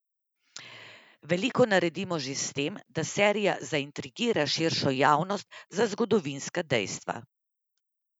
Veliko naredimo že s tem, da serija zaintrigira širšo javnost za zgodovinska dejstva.